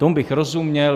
Tomu bych rozuměl.